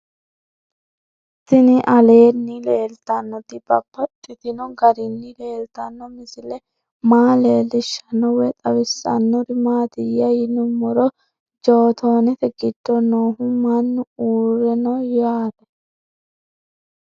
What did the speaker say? Tinni aleenni leelittannotti babaxxittinno garinni leelittanno misile maa leelishshanno woy xawisannori maattiya yinummoro jottonette giddo noohu mannu uurre no yaatte